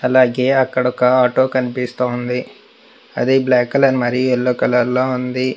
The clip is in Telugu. అలాగే అక్కడ ఒక ఆటో కనిపిస్తోంది అది బ్లాక్ కలర్ మరీ ఎల్లో కలర్ లో ఉంది.